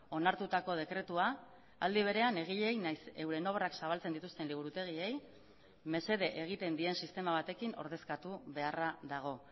onartutako dekretua aldi berean egileei naiz euren obrak zabaltzen dituzten liburutegiei mesede egiten dien sistema batekin ordezkatu beharra dago